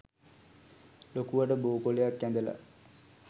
ලොකුවට බෝ කොළයක් ඇඳලා